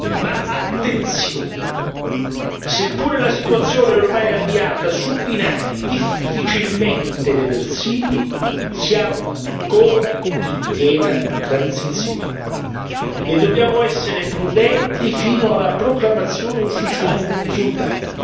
Ma attenzione seppure la situazione è ormai avviata su binari difficilmente reversibili, siamo ancora in piena transizione e dobbiamo essere prudenti fino alla proclamazione ufficiale dei risultati.